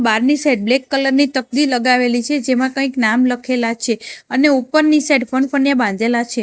બારની side black colour ની તબદી લગાવેલી છે જેમા કઇક નામ લખેલા છે અને ઉપરની સાઇડ ફનફન્યા બાંધેલા છે.